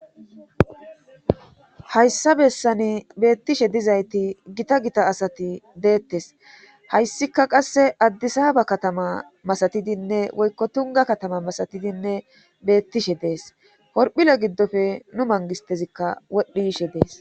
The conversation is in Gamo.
hayssa bessani beettishe dizayti gita gita asati deettes hayssika qasse addisa ba katama masatidinne woykko tunga katama masatidinne beettishe dees korphile giddofe nu mangistezikka wodhdhi yishe dees